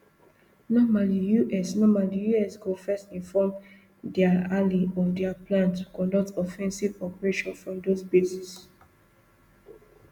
normally us normally us go first inform dia ally of dia plan to conduct offensive operations from those bases